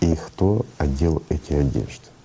и кто одел эти одежды